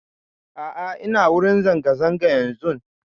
A'a ina wurin zanga-zanga yanzun.